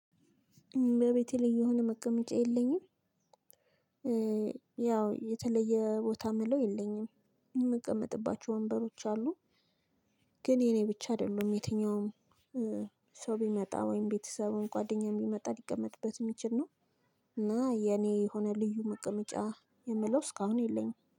ቤቴ ላይ የሆነ መቀመጫ የለኝም። ያው የተለየ ቦታ የምለው የለኝም የምቀመጥባቸው ወንበሮች አሉ። ግን የኔ ብቻ አይደለም የትኛውም ሰው ቢመጣ ወይም ቤተሰብ ጓደኛዬ ቢመጣ ሊቀመጥበት የሚችል ነው። እና የእኔ የሆነ ልዩ መቀመጫ የምለው እስከ አሁን የለኝም።